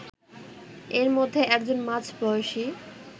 এর মধ্যে একজন মাঝ বয়সী